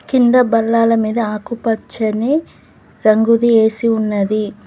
కింద బల్లాల మీద ఆకుపచ్చని రంగుది ఏ_సి ఉన్నది.